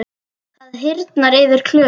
Það hýrnar yfir Klöru.